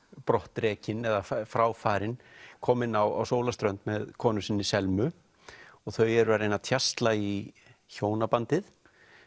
brottrekinn eða frá farinn kominn á sólarströnd með konu sinni Selmu og þau eru að reyna að tjasla í hjónabandið